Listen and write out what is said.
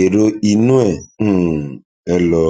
èrò inú um ẹ lọ